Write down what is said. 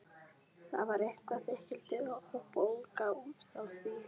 Þar var eitthvert þykkildi og bólga út frá því.